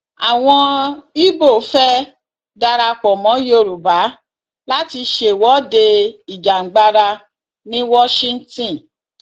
àwọn ibo fẹẹ darapọ mọ yorùbá láti ṣèwọde ìjàngbara ní washington